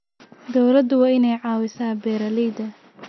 Dawladdu waa inay caawisaa beeralayda.